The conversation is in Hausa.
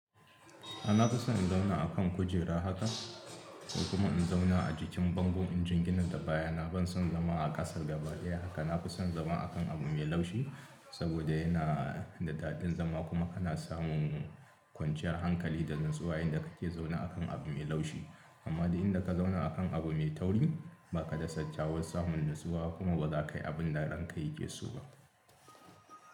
A na fi son in zauna a kan kujera haka ko kuma in zauna a jikin bangon injin gina da baya na. Ban son zama a ƙasa gaba daya haka. Na fi son zama a kan abu mai laushi saboda yana da daɗin zama kuma ana samun kwanciyar hankali da natsuwa in da kake zaune a kan abu mai laushi. Amma duk in da ka zauna a kan abu mai tauri ba ka kyakkyawan samun natsuwa kuma ba za ka yi abin da ranka yake so ba.